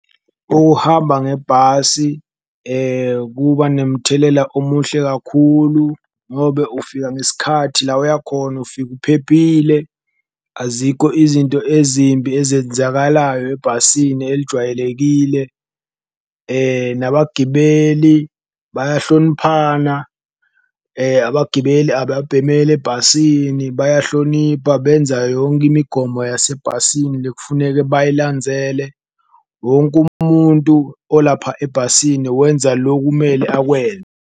Ukuhamba ngebhasi kuba nemthelela omuhle kakhulu ngobe ufika ngesikhathi, la oya khona ufika uphephile azikho izinto ezimbi ezenzakalayo ebhasini elijwayelekile, nabagibeli bayahloniphana. Abagibeli ababhemeli ebhasini bayahlonipha, benza yonke imigomo yasebhasini lekufuneke bayilanzele wonke umuntu olapha ebhasini wenza lokumele .